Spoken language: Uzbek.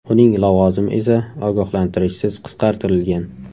Uning lavozimi esa ogohlantirishsiz qisqartirilgan.